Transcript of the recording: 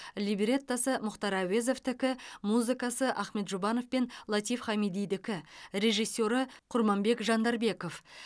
либреттосы мұхтар әуезовтікі музыкасы ахмет жұбанов пен латиф хамидидікі режиссері құрманбек жандарбеков